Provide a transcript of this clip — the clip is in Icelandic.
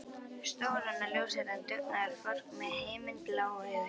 Stóran og ljóshærðan dugnaðarfork með himinblá augu.